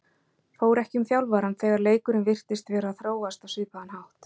Fór ekki um þjálfarann þegar leikurinn virtist vera að þróast á svipaðan hátt?